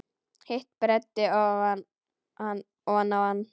Hitt breiddi hann oná hann.